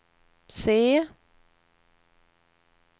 se